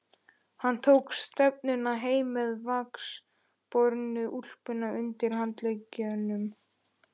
Hann tók stefnuna heim með vaxbornu úlpuna undir handleggnum.